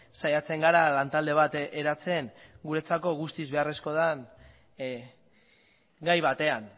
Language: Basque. saiatzen gara lantalde bat eratzen guretzako guztiz beharrezkoa den gai batean